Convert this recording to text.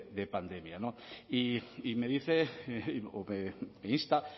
de pandemia y me dice o me insta